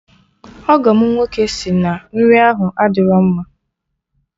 Ọgọ m nwoke sị na nri ahụ adịrọ mma